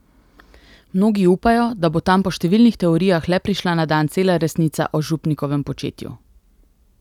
Mnogi upajo, da bo tam po številnih teorijah le prišla na dan cela resnica o župnikovem početju.